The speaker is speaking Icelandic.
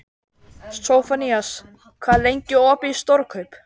Sophanías, hvað er lengi opið í Stórkaup?